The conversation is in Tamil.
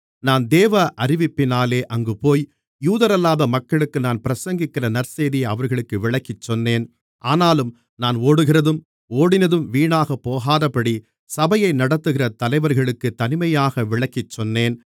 நான் தேவ அறிவிப்பினாலே அங்குபோய் யூதரல்லாத மக்களுக்கு நான் பிரசங்கிக்கிற நற்செய்தியை அவர்களுக்கு விளக்கிச் சொன்னேன் ஆனாலும் நான் ஓடுகிறதும் ஓடினதும் வீணாகப் போகாதபடி சபையை நடத்துகிற தலைவர்களுக்கே தனிமையாக விளக்கிச் சொன்னேன்